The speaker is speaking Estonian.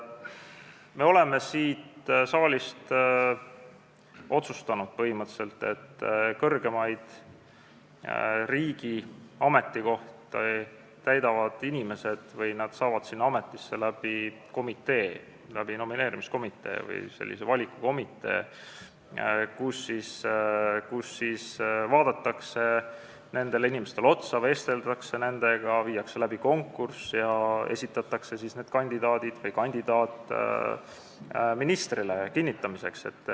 Me oleme siin saalis põhimõtteliselt otsustanud, et riigi kõrgematele ametikohtadele saavad inimesed nomineerimiskomitee või sellise valikukomitee kaudu, kus vaadatakse nendele inimestele otsa, vesteldakse nendega, viiakse läbi konkurss ja esitatakse siis kandidaat ministrile kinnitamiseks.